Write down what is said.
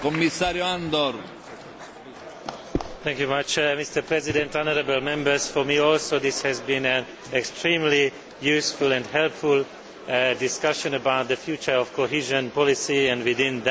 Mr President, for me, too, this has been an extremely useful and helpful discussion about the future of cohesion policy and, within that, the future of the European Social Fund.